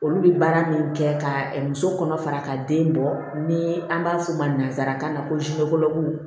Olu bɛ baara min kɛ ka muso kɔnɔ fara ka den bɔ ni an b'a f'u ma nanzarakan na ko